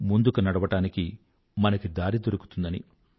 ముందుకి నడవడానికి మనకి దారి దొరుకుతుందని